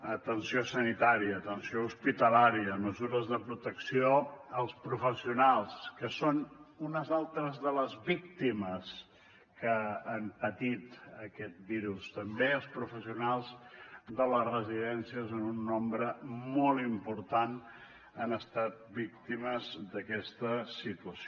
atenció sanitària atenció hospitalària mesures de protecció als professionals que són unes altres de les víctimes que han patit aquest virus també els professionals de les residències en un nombre molt important han estat víctimes d’aquesta situació